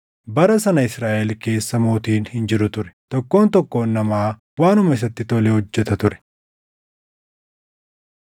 Bara sana Israaʼel keessa mootiin hin jiru ture; tokkoon tokkoon namaa waanuma isatti tole hojjeta ture.